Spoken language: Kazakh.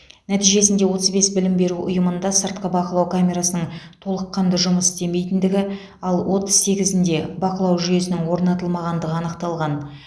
нәтижесінде отыз бес білім беру ұйымында сыртқы бақылау камерасының толыққанды жұмыс істемейтіндігі ал отыз сегізінде бақылау жүйесінің орнатылмағандығы анықталған